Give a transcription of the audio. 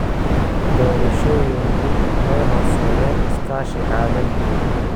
Doorashooyinku waxay horseedeen iskaashi caalami ah.